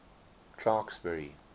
clarksburry